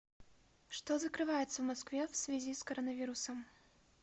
что закрывается в москве в связи с коронавирусом